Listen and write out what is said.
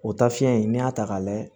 O taafiɲɛ in n'i y'a ta k'a layɛ